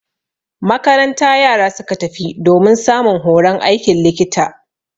Makaranta yara suka tafi domin samun horon aikin likita.